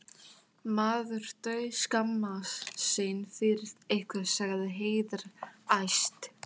Maður dauðskammast sín fyrir ykkur, sagði Heiða æst.